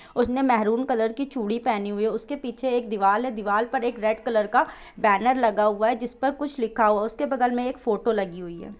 उसने maroon colour की चूड़ी पेहनी हुई है उसके पीछे एक दीवाल है दीवाल पर एक रेड कलर का बेनर लगा हुआ है जिस पर कुछ लिखा हुआ है उसके बगल में एक फोटो लगी हुई है।